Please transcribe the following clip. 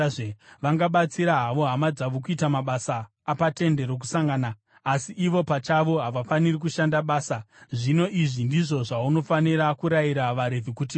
Vangabatsira havo hama dzavo kuita mabasa apaTende Rokusangana, asi ivo pachavo havafaniri kushanda basa. Zvino, izvi ndizvo zvaunofanira kurayira vaRevhi kuti vaite.”